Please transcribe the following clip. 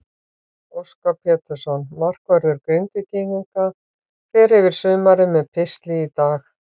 Óskar Pétursson, markvörður Grindvíkinga, fer yfir sumarið með pistli í dag.